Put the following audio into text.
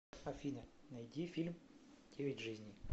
афина найди фильм девять жизней